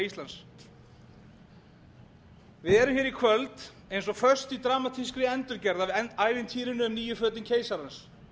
íslands við erum hér í kvöld eins og föst í dramatískri endurgerð af ævintýrinu um nýju fötin keisarans